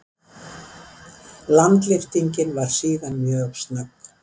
Landlyftingin var síðan mjög snögg.